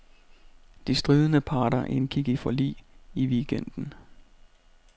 De stridende parter indgik forlig i weekenden.